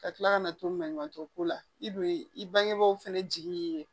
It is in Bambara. Ka tila kana to manɲuman ko la i don i bangebaaw fana jigin ye